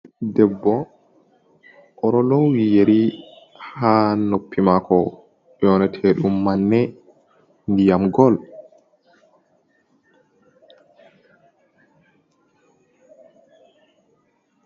Debbo oɗolowi yeri ha noppi mako nyonete ɗum manne ndiyam gol.